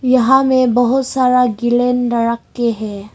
यहां मैं बहुत सारा गेलन रके हैं।